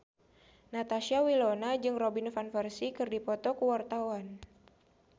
Natasha Wilona jeung Robin Van Persie keur dipoto ku wartawan